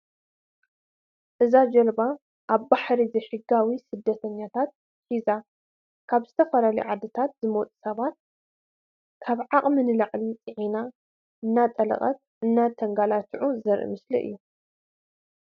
እዛ ጃልባ ኣብ ባሕሪ ዘይሕጋዊ ስደተኛታት ሒዛ ካብ ዝተፈላለዩ ዓድታት ዝመፁ ሰባት ካብ ዓቅሚ ንላዕሊ ፅዒና እንዳጠለቀት እንዳተጋላቱዑን ዘርኢ ምስሊ እዩ።